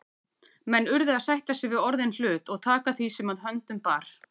Menn urðu að sætta sig við orðinn hlut og taka því sem að höndum bar.